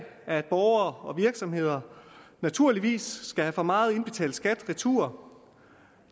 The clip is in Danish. at borgere og virksomheder naturligvis skal have for meget indbetalt skat retur